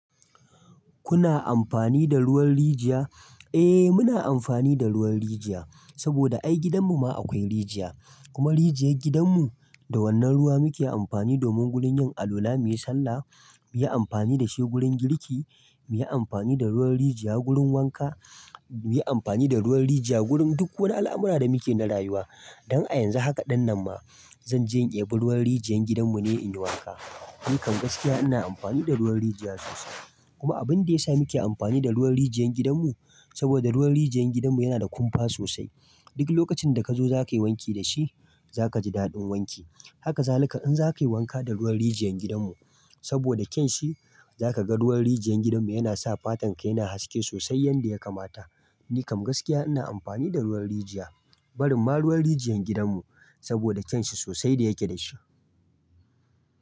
Kuna amfani da ruwan rijiya? Eh muna amfani da ruwan rijiya, saboda ai gidan mu ma akwai rijiya. Kuma rijiyar gidan mu, da wannan ruwa muke amfani domin gurin yin alwala muyi sallah, muyi amfani dashi gurin girki, muyi amfani da ruwan rijiya gurin wanka, muyi amfani da ruwan rijiya gurin duk wani al'amura da muke na rayuwa. Dan a yanzu haka ɗinnan ma, zanje in ɗebi ruwan rijiyar gidan mu ne in yi wanka. Ni kam gaskiya ina amfani da ruwan rijiya sosai. Kuma abin da ya sa muke amfani da ruwan rijiyar gidan mu, saboda ruwan rijiyar gidan mu yana da kumfa sosai. Duk lokacin da kazo zakayi wanki dashi, zaka ji daɗin wanki. Haka zalika in zakayi wanka da ruwan rijiyar gidan mu, saboda kyanshi zaka ga ruwan rijiyar gidan mu yana sa fatan ka yana haske sosai yanda yakamata. Ni kam gaskiya ina amfani da ruwan rijiya, barin ma ruwan rijiyar gidan mu, saboda kyanshi sosai da yake dashi.